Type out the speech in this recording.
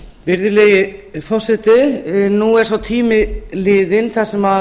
virðulegi forseti nú er sá tími liðinn sem